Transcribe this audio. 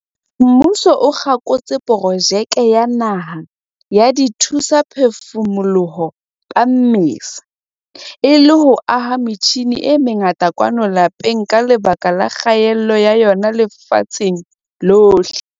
Mmuso o kgakotse Projeke ya Naha ya Dithusaphefumoloho ka Mmesa, e le ho aha metjhine e mengata kwano lapeng ka lebaka la kgaello ya yona lefatsheng lohle.